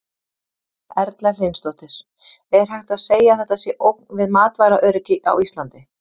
Erla Hlynsdóttir: Er hægt að segja að þetta sé ógn við matvælaöryggi á Íslandi?